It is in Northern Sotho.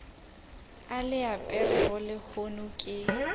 o le aperego lehono ke